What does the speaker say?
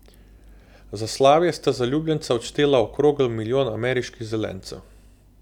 Za slavje sta zaljubljenca odštela okrogel milijon ameriških zelencev.